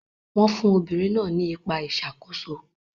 Wọ́n fún obìnrin náà ní ipa ìṣàkóso.